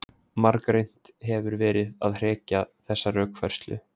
Margreynt hefur verið að hrekja þessa rökfærslu.